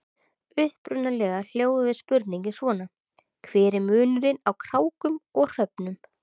Upprunalega hljóðaði spurningin svona: Hver er munurinn á krákum og hröfnum?